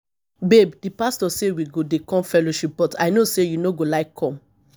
babe the pastor say we go dey come fellowship but i no say you no go like come